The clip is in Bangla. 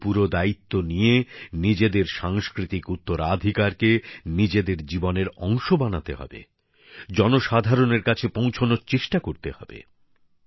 আমাদেরও পুরো দায়িত্বে নিয়ে নিজেদের সাংস্কৃতিক উত্তরাধিকারকে নিজেদের জীবনের অংশ বানাতে হবে জনসাধারণের কাছে পৌঁছানোর চেষ্টা করতে হবে